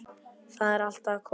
Það er allt að koma.